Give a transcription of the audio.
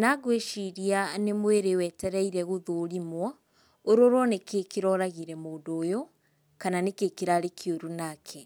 na ngwĩciria nĩ mwĩrĩ wetereire gũthũrimwo, ũrorwo nĩkĩĩ kĩroragire mũndũ ũyũ, kana nĩkĩĩ kĩrarĩ kĩũru nake.